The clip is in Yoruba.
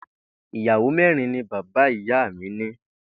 Ìyàwó mé̩rin ni bàbá ìyá mi ní